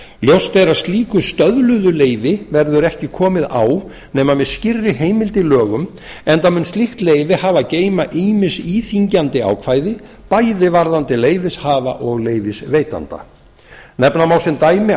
ljóst er að slíku stöðluðu leyfi verður ekki komið á nema með skýrri heimild í lögum enda mun slíkt leyfi hafa að geyma ýmis íþyngjandi ákvæði bæði varðandi leyfishafa og leyfisveitanda nefna má sem dæmi